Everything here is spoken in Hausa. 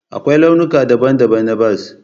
Akwai launuka daban-daban na bas